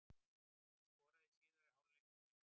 Hann skoraði í síðari hálfleik í þeim leik.